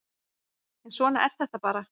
En svona er þetta bara